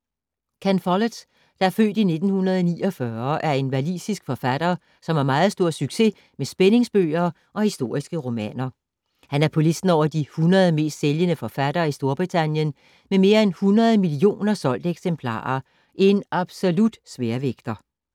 Ken Follett, der er født i 1949, er en walisisk forfatter, som har meget stor succes med spændingsbøger og historiske romaner. Han er på listen over de 100 mest sælgende forfattere i Storbritannien med mere end 100 millioner solgte eksemplarer. En absolut sværvægter.